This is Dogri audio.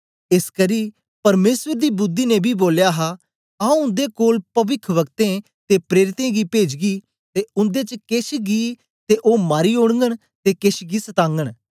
एसकरी परमेसर दी बुद्धि ने बी बोलया हा आऊँ उन्दे कोल पविखवक्तें ते प्रेरितें गी पेजगी ते उन्दे च केछ गी ते ओ मारी ओड़गन ते केछ गी सतागन